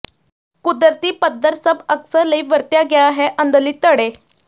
ਕੁਦਰਤੀ ਪੱਥਰ ਸਭ ਅਕਸਰ ਲਈ ਵਰਤਿਆ ਗਿਆ ਹੈ ਅੰਦਰਲੀ ਥੜ੍ਹੇ